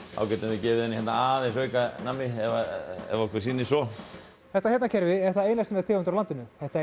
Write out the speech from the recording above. þá getum við gefið henni aðeins meira nammi ef okkur sýnist svo þetta hérna kerfi er það eina sinnar tegundar á landinu þetta